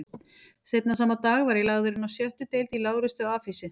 Seinna sama dag var ég lagður inná sjöttu deild í lágreistu afhýsi